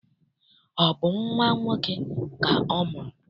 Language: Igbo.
Ọ bụ nnwa nwoke ka ọ mụrụ?